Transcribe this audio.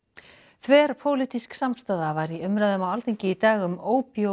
þverpólitísk samstaða var í umræðum á Alþingi í dag um